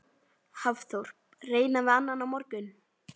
Hafþór: Reyna við annan á morgun?